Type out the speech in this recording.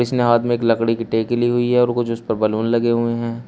इसने हाथ मे एक लकड़ी कि टेकी ली हुई है और कुछ उसपे बैलून लगे हुएं हैं।